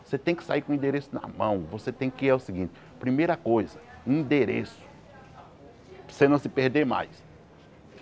Você tem que sair com o endereço na mão, você tem que ir é seguinte, primeira coisa, endereço, para você não se perder mais.